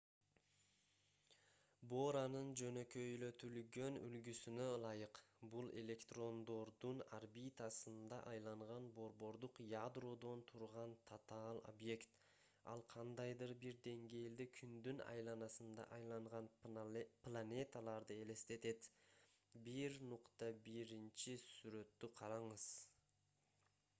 боранын жөнөкөйлөтүлгөн үлгүсүнө ылайык бул электрондордун орбитасында айланган борбордук ядродон турган татаал объект ал кандайдыр бир деңгээлде күндүн айланасында айланган планеталарды элестетет - 1.1-сүрөттү караңыз